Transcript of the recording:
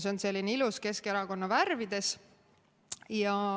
See on selline ilus, Keskerakonna värvides.